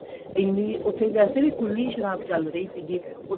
ਐਨੀਂ ਉੱਥੇ ਵੈਸੇ ਖੁੱਲੀ ਸ਼ਰਾਬ ਚੱਲ ਰਹੀ ਸੀਗੀ